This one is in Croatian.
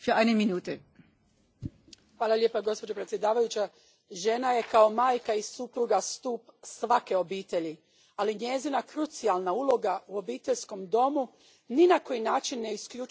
Gospođo predsjednice, žena je kao majka i supruga stup svake obitelji, ali njezina krucijalna uloga u obiteljskom domu ni na koji način ne isključuje njezino profesionalno ostvarenje.